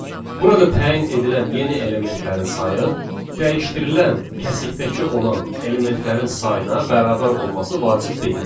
Burada təyin edilən yeni elementlərin sayı dəyişdirilən kəsikdəki olan elementlərin sayına bərabər olması vacib deyil.